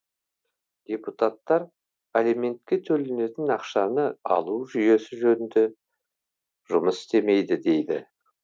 депутаттар алиментке төленетін ақшаны алу жүйесі жөнді жұмыс істемейді дейді